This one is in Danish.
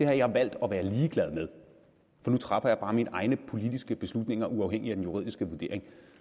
har jeg valgt at være ligeglad med for nu træffer jeg bare mine egne politiske beslutninger uafhængig af den juridiske vurdering